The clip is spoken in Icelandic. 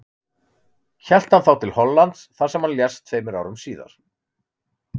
Hélt hann þá til Hollands þar sem hann lést tveimur árum síðar.